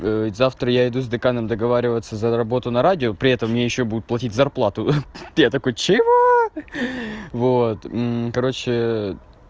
завтра я иду с деканом договариваться за работу на радио при этом ещё будут платить зарплату я такой чего вот короче